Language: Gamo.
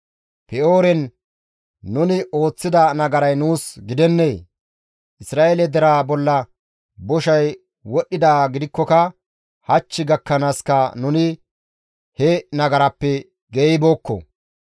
Pe7ooren nuni ooththida nagaray nuus gidennee? Isra7eele deraa bolla boshay wodhdhidaa gidikkoka hach gakkanaaska nuni he nagarappe geeyibookko.